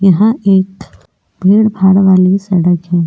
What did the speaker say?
यहां एक भीड़ भाड़ वाली सड़क है।